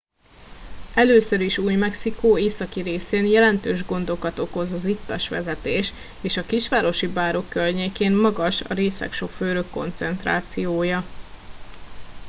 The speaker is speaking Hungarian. először is új mexikó északi részén jelentős gondokat okoz az ittas vezetés és a kisvárosi bárok környékén magas a részeg sofőrök koncentrációja